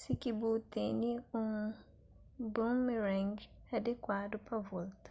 si ki bu tene un boomerang adikuadu pa volta